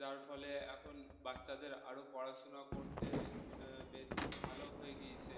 যার ফলে এখন বাচ্চাদের আরও পড়াশোনা করতে বেশি ভালো হয়ে গিয়েছে